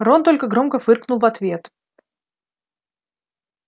рон только громко фыркнул в ответ